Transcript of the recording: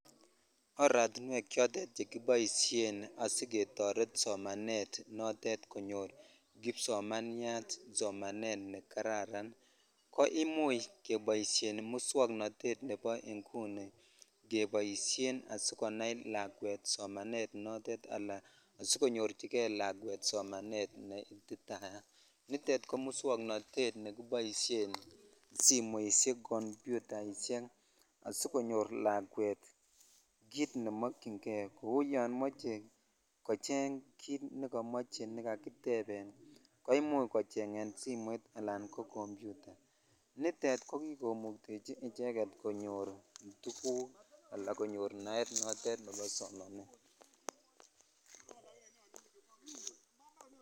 Oratinwek chotet chekibaishen ketaret somanet notet konyo kipsomaniat somanet nekararan koimuche kebaishen muswaknatet nebo inguni kebaishen asikonai lakwet somanet notet asikonyorchigei lakwet somanet neititaiyat komuswaknatet kebaishen simoishek ,computaishek asikonyor lakwet kit nemakin gei Kou yamache kocheng kit nekamache nikakiteben koimuche kochengen simoit anan ko computa nitet komii koimukteji konyor tuguk anan konyor naet notet en